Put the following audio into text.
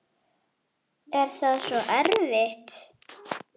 Er það svo erfitt?